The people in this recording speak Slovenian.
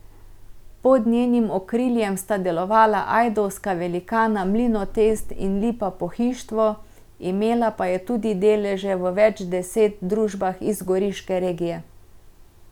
Pod njenim okriljem sta delovala ajdovska velikana Mlinotest in Lipa Pohištvo, imela pa je tudi deleže v več deset družbah iz goriške regije.